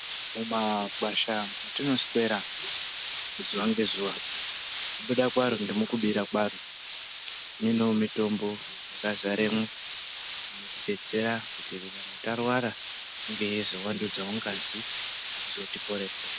Mumakwasha mati noswera, zuva ngezuva, mukubuda kwaro nemikubira kwaro, mune mitombo yaka zaremwo inotibetsera kuti nyangwe tarwara inge yeizo vandudzawo ngazi neku zotiporesa